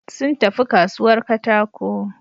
Sun tafi kasuwar katako.